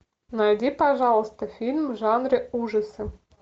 найди пожалуйста фильм в жанре ужасы